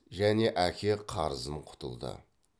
және әке қарызын құтылды